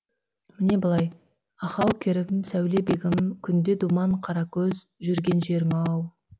міне былай ахау керім сәулебегім күнде думан қаракөз жүрген жерің ау